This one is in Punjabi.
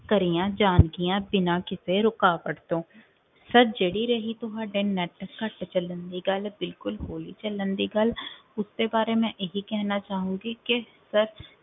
ਕਰੀਆਂ ਜਾਣਗੀਆਂ ਬਿਨਾਂ ਕਿਸੇ ਰੁਕਾਵਟ ਤੋਂ sir ਜਿਹੜੀ ਰਹੀ ਤੁਹਾਡੇ net ਘੱਟ ਚੱਲਣ ਦੀ ਗੱਲ ਬਿਲਕੁਲ ਹੌਲੀ ਚੱਲਣ ਦੀ ਗੱਲ ਉਸਦੇ ਬਾਰੇ ਮੈਂ ਇਹ ਹੀ ਕਹਿਣਾ ਚਾਹੂੰਗੀ ਕਿ sir